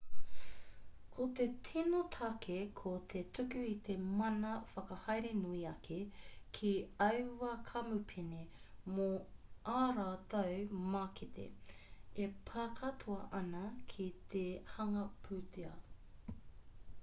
ko te tino take ko te tuku i te mana whakahaere nui ake ki aua kamupene mō ā rātou mākete e pā katoa ana ki te hanga pūtea